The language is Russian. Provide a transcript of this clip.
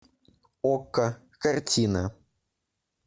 окко картина